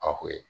A ko ye